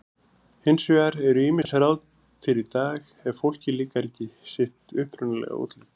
Hins vegar eru ýmis ráð til í dag ef fólki líkar ekki sitt upprunalega útlit.